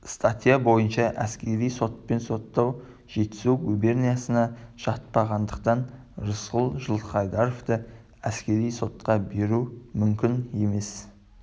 статья бойынша әскери сотпен соттау жетісу губерниясына жатпағандықтан рысқұл жылқайдаровты әскери сотқа беру мүмкін емес